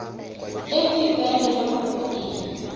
e go ikaelelwang go e